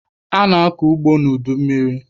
A na-akọ ugbo n'udummiri.